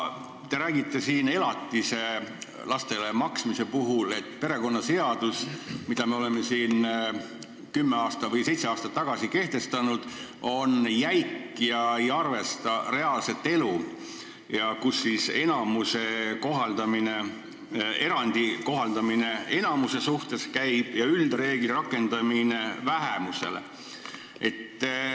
Te räägite lastele elatise maksmist silmas pidades, et perekonnaseadus, mille me seitse aastat tagasi kehtestasime, on jäik ega arvesta reaalset elu, kus käib erandi kohaldamine enamuse suhtes ja üldreegli rakendamine vähemusele.